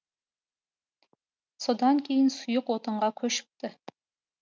содан кейін сұйық отынға көшіпті